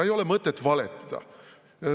Ei ole mõtet valetada.